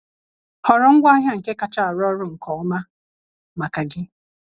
Họrọ ngwaahịa nke kacha arụ ọrụ nke ọma maka gị.